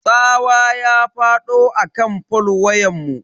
Tsawa ya fado akan fol wayanmu.